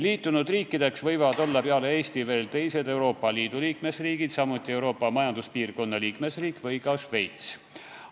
Liitunud riikideks võivad olla peale Eesti veel teised Euroopa Liidu liikmesriigid, samuti muud Euroopa Majanduspiirkonna liikmesriigid ja ka Šveits.